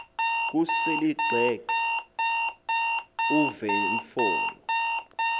kusel ixheg uvenfolo